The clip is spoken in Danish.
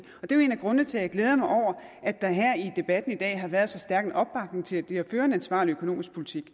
og det er en af grundene til at jeg glæder mig over at der her i debatten i dag har været så stærk en opbakning til det at føre en ansvarlig økonomisk politik